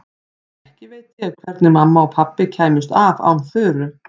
Ekki veit ég hvernig mamma og pabbi kæmust af án Þuru.